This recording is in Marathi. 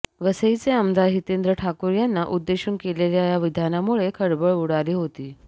वसईचे आमदार हितेंद्र ठाकूर यांना उद्देशून केलेल्या या विधानामुळे खळबळ उडाली होती